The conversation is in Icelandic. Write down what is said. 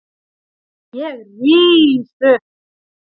Ég rís upp.